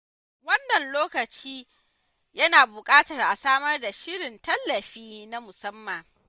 Wannan lokacin yana buƙatar a samar da shirin tallafi na musamman.